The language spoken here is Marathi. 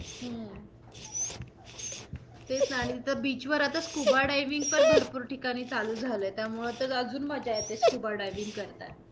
हम्म तेच न आणि तिथं beach वर आता scuba diving पण भरपूर ठिकाणी चालू झाल आहे, त्यामुळे आता अजून मज्जा scuba diving करताना.